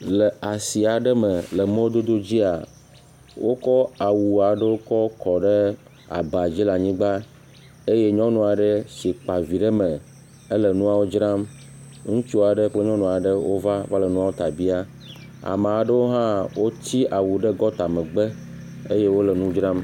Le asi aɖe me le mɔdodo dzia, wokɔ awu aɖewo kɔ ɖe aba dzi le anyigba, eye nyɔnu aɖe si kpa vi ɖe eme le nuawo dram ŋutsu aɖe kple nyɔnu aɖe wo va le nuwo ta biam amewo aɖewo hã woti awu ɖe gɔta megbe eye wole nu dzram.